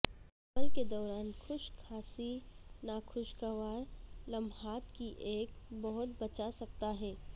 حمل کے دوران خشک کھانسی ناخوشگوار لمحات کی ایک بہت بچا سکتا ہے